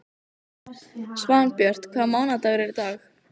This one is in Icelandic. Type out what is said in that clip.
Svanbjört, hvaða mánaðardagur er í dag?